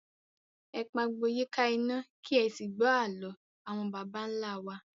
Ẹ pagbo yíká iná, kì ẹ sì gbọ́ àló àwọn baba ńlá wa